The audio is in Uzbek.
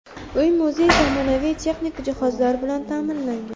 Uy-muzey zamonaviy texnik jihozlar bilan ta’minlangan.